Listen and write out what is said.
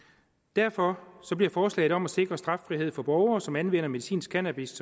derfor bliver forslaget om at sikre straffrihed for borgere som anvender medicinsk cannabis